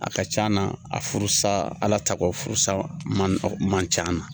A ka can na a furusa Ala takɔ furusa man man can na.